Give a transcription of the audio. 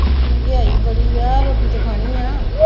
ਮਹਿੰਗਾਈ ਬੜੀ ਹੈ ਰੋਟੀ ਤੇ ਖਾਣੀ ਹੈ।